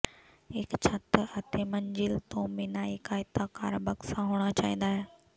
ਇੱਕ ਛੱਤ ਅਤੇ ਮੰਜ਼ਿਲ ਤੋਂ ਬਿਨਾਂ ਇੱਕ ਆਇਤਾਕਾਰ ਬਕਸਾ ਹੋਣਾ ਚਾਹੀਦਾ ਹੈ